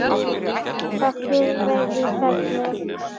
Það fyrra væri í ferli.